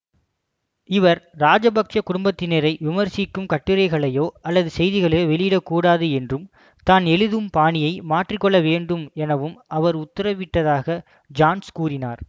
இவர் ராஜபக்ச குடும்பத்தினரை விமர்சிக்கும் கட்டுரைகளையோ அல்லது செய்திகளையோ வெளியிடக்கூடாது என்றும் தான் எழுதும் பாணியை மாற்றி கொள்ள வேண்டும் எனவும் அவர் உத்தரவிட்டதாக ஜான்ஸ் கூறினார்